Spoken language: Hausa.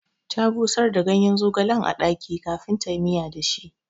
Ta busar da gayen zogalen a ɗaki kafin tayi miya da shi